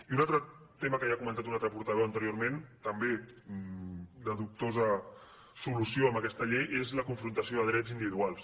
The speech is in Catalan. i un altre tema que ja ha comentat un altre portaveu anteriorment també de dubtosa solució amb aquesta llei és la confrontació de drets individuals